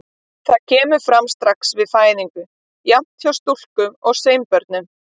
Það kemur fram strax við fæðingu, jafnt hjá stúlku- og sveinbörnum.